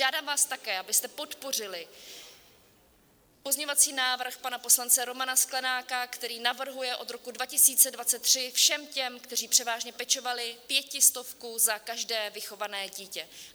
Žádám vás také, abyste podpořili pozměňovací návrh pana poslance Romana Sklenáka, který navrhuje od roku 2023 všem těm, kteří převážně pečovali, pětistovku za každé vychované dítě.